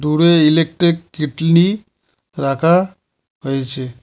উপরে electric kettle রাখা হয়েছে।